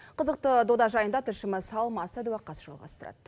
қызықты дода жайында тілшіміз алмас садуақас жалғастырады